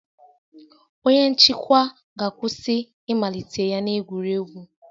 Onye nchịkwa ga-akwụsị ịmalite ya na egwuregwu